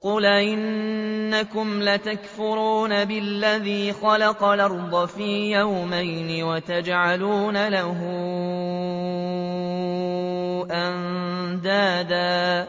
۞ قُلْ أَئِنَّكُمْ لَتَكْفُرُونَ بِالَّذِي خَلَقَ الْأَرْضَ فِي يَوْمَيْنِ وَتَجْعَلُونَ لَهُ أَندَادًا ۚ